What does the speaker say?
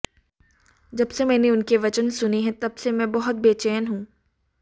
जब से मैंने उनके वचन सुने हैं तब से मैं बहुत बेचैन हूं